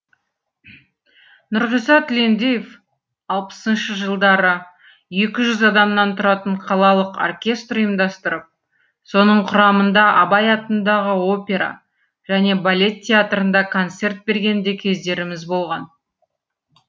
нұрғиса тілендиев алпысыншы жылдары екі жүз адамнан тұратын қалалық оркестр ұйымдастырып соның құрамында абай атындағы опера және балет театрында концерт берген де кездеріміз болған